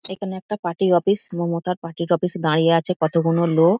এখানে একটা পার্টি -র অফিস মমতার পার্টি -র অফিস -এ দাঁড়িয়ে আছে কতগুলো লো--